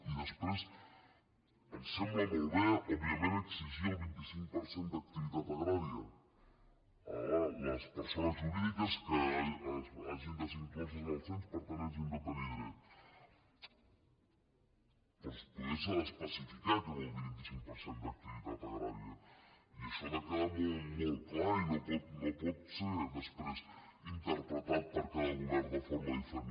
i després ens sembla òbviament exigir el vint cinc per cent d’activitat agrària a les persones jurídiques que hagin de ser incloses al cens per tant hagin de tenir dret però potser s’ha d’especificar què vol dir vint cinc per cent d’activitat agrària i això ha de quedar molt molt clar i no pot ser després interpretat per cada govern de for·ma diferent